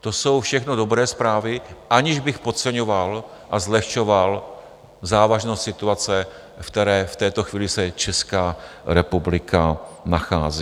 To jsou všechno dobré zprávy, aniž bych podceňoval a zlehčoval závažnost situace, v které v této chvíli se Česká republika nachází.